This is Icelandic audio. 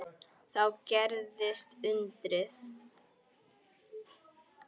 Þá gerðist undrið.